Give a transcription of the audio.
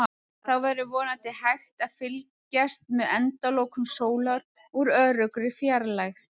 Þá verður vonandi hægt að fylgjast með endalokum sólar úr öruggri fjarlægð.